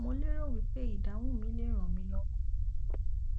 mo lérò wí pé ìdáhùn mi lè ràn mí lọwọ